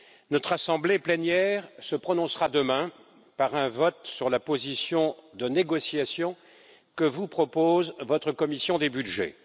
Notre assemblée plénière se prononcera demain par un vote sur la position de négociation que vous propose votre commission des budgets.